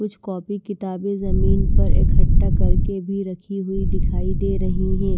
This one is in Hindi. कुछ कॉपी किताबें जमीन पर इकट्ठा करके भी रखी हुई दिखाई दे रही हैं।